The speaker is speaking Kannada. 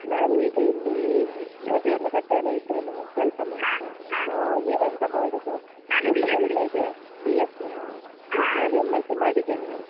ನಾನು ಈಗ ಇಲ್ಲಿ ಅಹ್ ದೇರ್ಲಕಟ್ಟೆಯಲ್ಲೇ ಇದ್ದೇನೆ ಕೆಲ್ಸ ಮಾಡ್ತಾ ಆಹ್ ನೀವ್ ಎಂತ ಮಾಡುದು? ಎಂತ ಕಲಿತಾ ಇದೀರಾ? B.sc ಯಾ? ನಾನು M.sc ಮಾಡಿದೇನೆ.